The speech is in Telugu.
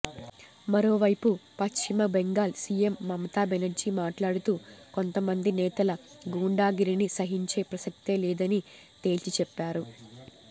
మరోవైపు పశ్చిమ బెంగాల్ సీఎం మమతాబెనర్జీ మాట్లాడుతూ కొంత మంది నేతల గూండాగిరిని సహించే ప్రసక్తే లేదని తేల్చి చెప్పారు